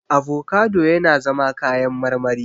Avocado yana zama kayan marmari.